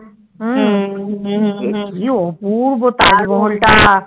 হুম কি অপূর্ব তাজমহল টা